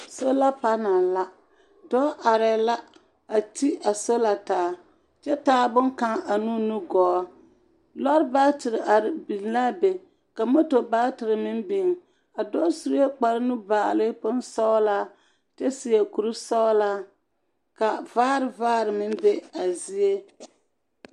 Sola panal la. Dɔɔ arɛɛ la, a ti a sola taa kyɛ taa boŋkaŋ ane o nugɔɔ. Lɔr baatere are biŋ laa be ka moto baatere meŋ biŋ a dɔɔ sue kparenubaale bonsɔgelaa kyɛ seɛ kurisɔgelaa, ka vaar vaar meŋ be a zie.